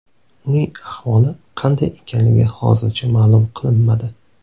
Uning ahvoli qanday ekanligi hozircha ma’lum qilinmadi.